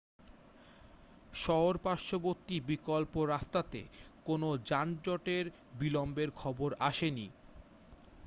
শহর-পার্শ্ববর্তী বিকল্প রাস্তাতে কোনো যানজটের বিলম্বের খবর আসেনি